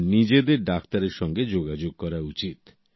আর নিজেদের ডাক্তারের সঙ্গে যোগাযোগ করা উচিত